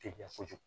Te ɲɛ kojugu